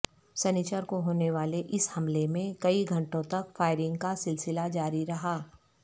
سنیچر کو ہونے والے اس حملے میں کئی گھنٹوں تک فائرنگ کا سلسلہ جاری رہا